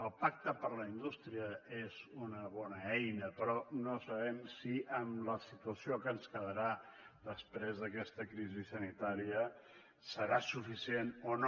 el pacte per a la indústria és una bona eina però no sabem si amb la situació que ens quedarà després d’aquesta crisi sanitària serà suficient o no